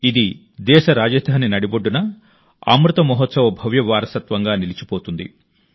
ఇది దేశ రాజధాని నడిబొడ్డున అమృత్ మహోత్సవ భవ్య వారసత్వంగా నిలిచిపోతుంది